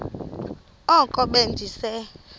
oko be ndise